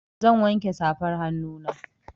Zan wanke safan hannuna.